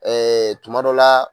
Ɛɛ tuma dɔ la